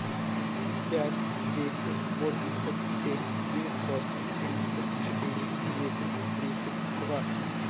пять двести восемьдесят семь девятьсот семьдесят четыре десять тридцать два